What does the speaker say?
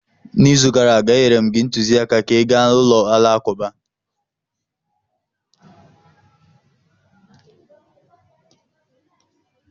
N’izu gara aga, enyere m gị ntụziaka ka ị gaa ulo alakụba.